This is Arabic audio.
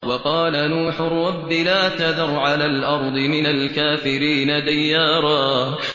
وَقَالَ نُوحٌ رَّبِّ لَا تَذَرْ عَلَى الْأَرْضِ مِنَ الْكَافِرِينَ دَيَّارًا